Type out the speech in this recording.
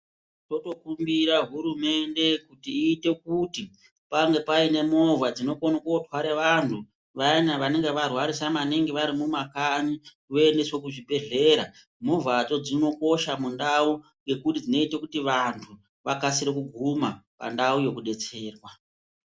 Totokumbira hurumende kuti iite kuti pange pane movha dzinokona kotarwa vandu vayani vanenge varwarisa maningi vari kumakanyi voendeswa kuzvibhedhlera. Movhadzo dzinokosha mundau ngekuti dzinoita kuti vandu vakasire kuguma pandau yekudetserwa.